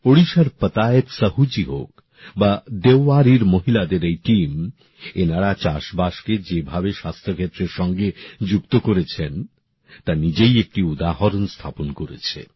ওড়িশার পাতায়েত সাহুজী হোক বা দেওয়ারির মহিলাদের এই দল এরা চাষবাস কে যেভাবে স্বাস্থ্য ক্ষেত্রের সঙ্গে যুক্ত করেছেন তা দৃষ্টান্তমূলক